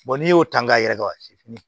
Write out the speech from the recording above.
n'i y'o ta k'a yɛrɛ ka si